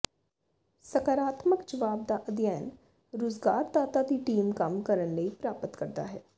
ਸਕਾਰਾਤਮਕ ਜਵਾਬ ਦਾ ਅਧਿਐਨ ਰੁਜ਼ਗਾਰਦਾਤਾ ਦੀ ਟੀਮ ਕੰਮ ਕਰਨ ਲਈ ਪ੍ਰਾਪਤ ਕਰਦਾ ਹੈ